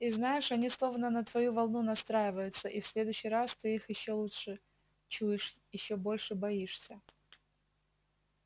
и знаешь они словно на твою волну настраиваются и в следующий раз ты их ещё лучше чуешь ещё больше боишься